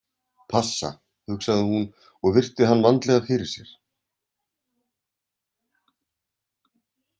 Passa, hugsaði hún og virti hann vandlega fyrir sér.